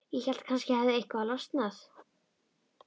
Ég hélt að kannski hefði eitthvað losnað.